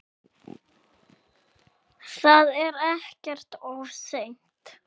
Það er ekkert of seint.